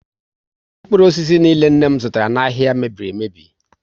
Mkpụrụ osisi niile nne m zụtara n'ahia mebiri emebi